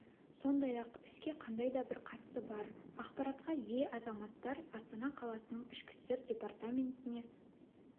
сондай-ақ іске қандай да бір қатысы бар ақпаратқа ие азаматтар астана қаласының ішкі істер департаментіне